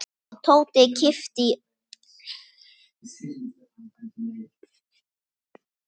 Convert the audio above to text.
Tóti yppti öxlum.